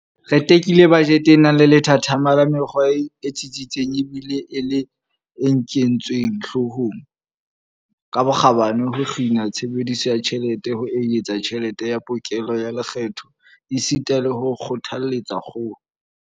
Re tekile bajete e nang le lethathama la mekgwa e tsitsitseng ebile e le e nketsweng hloohong ka bokgabane ho kgina tshebediso ya tjhelete, ho eketsa tjhelete ya pokello ya lekgetho esita le ho kgothaletsa kgolo.